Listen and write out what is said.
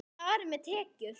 Og þar með tekjur.